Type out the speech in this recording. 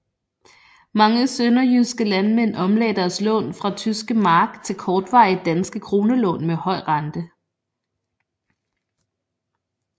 Mange sønderjyske landmænd omlagde deres lån fra tyske mark til kortvarige danske kronelån med høj rente